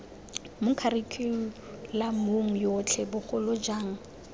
mo kharikhulamong yotlhe bogolo jang